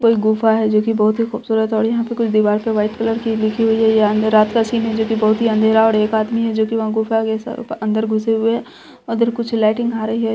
कोई गुफा है जो की बहुत ही खूबसूरत है और यहाँ पर कुछ दीवार पर वाइट कलर की लिखी हुई है ये अँधेरा यह रात का सीन है जो की बहुत ही अंधेरा है और एक आदमी है जो वहाँ गुफा के अंदर घुसे हुए है और इधर कुछ लाइटिंग आ रही है।